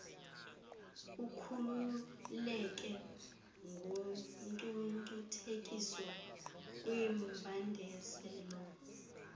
ukhululeke kungcungcuthekiso kwimbandezelo